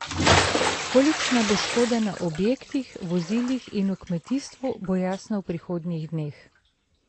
Kolikšna bo škoda na objektih, vozilih in v kmetijstvu, bo jasno v prihodnjih dneh.